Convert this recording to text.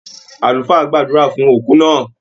Àlùfáà gbàdúrà fún òkú náà.